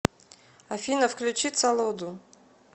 афина включи цолоду